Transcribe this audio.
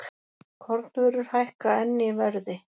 Kornvörur hækka enn í verði